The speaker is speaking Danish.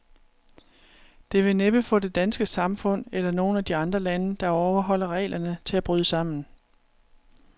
Det vil næppe få det danske samfund, eller nogen af de andre lande, der overholder reglerne, til at bryde sammen.